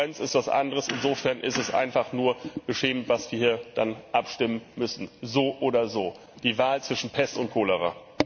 Kohärenz ist etwas anderes, insofern ist es einfach nur beschämend, was wir hier dann abstimmen müssen! So oder so die Wahl zwischen Pest und Cholera!